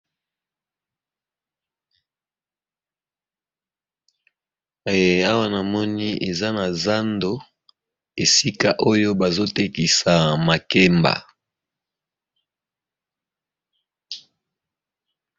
Awa na moni eza na zando, esika oyo bazo tekisa makemba.